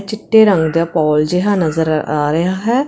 ਚਿੱਟੇ ਰੰਗ ਦਾ ਪੋਲ ਜਿਹਾ ਨਜ਼ਰ ਆ ਰਿਹਾ ਹੈ।